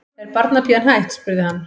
Er barnapían hætt? spurði hann.